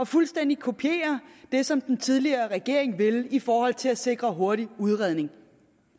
fuldstændig at kopiere det som den tidligere regering ville i forhold til at sikre hurtig udredning